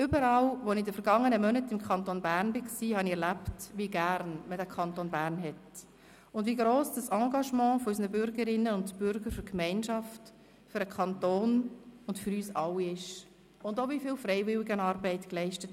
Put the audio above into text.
Überall, wo ich im Kanton Bern war, habe ich erlebt, wie gerne man den Kanton Bern hat und wie gross das Engagement unserer Bürgerinnen und Bürger für die Gemeinschaft, für den Kanton und für uns alle ist und auch, wie viel Freiwilligenarbeit geleistet